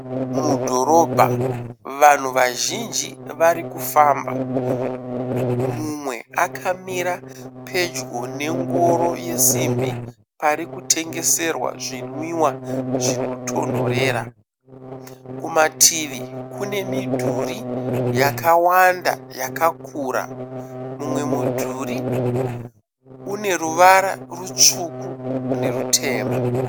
Mudhorobha vanhu vazhinji varikufamba. Mumwe akamira pedyo nengoro yesimbi pari kutengeserwa zvinwiwa zvinotonhorera. Kumativi kune midhuri yakawanda yakakura. Mumwe mudhuri une ruvara rutsvuku nerutema.